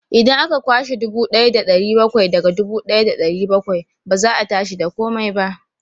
Idan aka kwashe dubu ɗaya da ɗari bakwai daga dubu ɗaya da ɗari bakwai, ba za a tashi da komai ba.